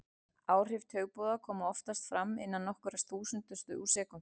Áhrif taugaboða koma oftast fram innan nokkurra þúsundustu úr sekúndu.